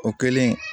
O kɛlen